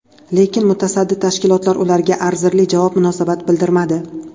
Lekin mutasaddi tashkilotlar ularga arzirli javob, munosabat bildirmadi.